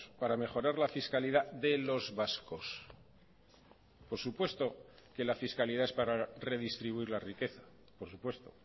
para mejorar la fiscalidad de los vascos por supuesto que la fiscalidad es para redistribuir la riqueza por supuesto